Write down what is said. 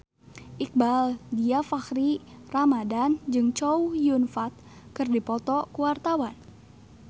Iqbaal Dhiafakhri Ramadhan jeung Chow Yun Fat keur dipoto ku wartawan